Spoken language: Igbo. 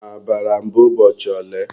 Ha bara mba ụbọchị ole?